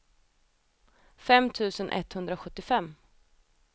fem tusen etthundrasjuttiofem